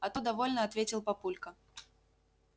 а то довольно ответил папулька